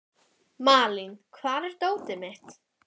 Malín, hvar er dótið mitt?